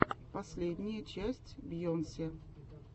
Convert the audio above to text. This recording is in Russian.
последняя часть бейонсе